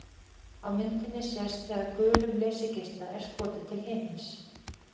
Á myndinni sést þegar gulum leysigeisla er skotið til himins.